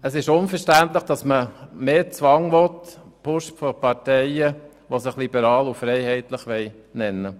Es ist unverständlich, dass man mehr Zwang will, gepusht von Parteien, die sich liberal und freiheitlich nennen.